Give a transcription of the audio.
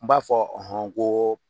N b'a fɔ n ko.